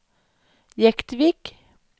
Jektvik